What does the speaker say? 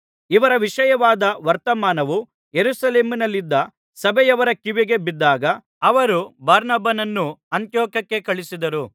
ಇವರ ವಿಷಯವಾದ ವರ್ತಮಾನವು ಯೆರೂಸಲೇಮಿನಲ್ಲಿದ್ದ ಸಭೆಯವರ ಕಿವಿಗೆ ಬಿದ್ದಾಗ ಅವರು ಬಾರ್ನಬನನ್ನು ಅಂತಿಯೋಕ್ಯಕ್ಕೆ ಕಳುಹಿಸಿದರು